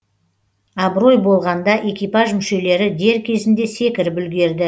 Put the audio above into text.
абырой болғанда экипаж мүшелері дер кезінде секіріп үлгерді